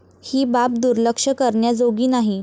ही बाब दुर्लक्ष करण्याजोगी नाही.